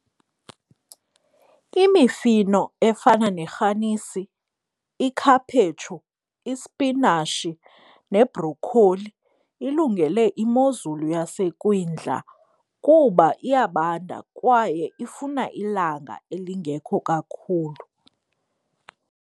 Imifino efana nerhanisi, ikhaphetshu, ispinashi nebrokholi ilungele imozulu yasekwindla kuba iyabanda kwaye ifuna ilanga elingekho kakhulu.